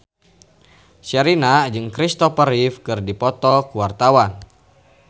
Sherina jeung Christopher Reeve keur dipoto ku wartawan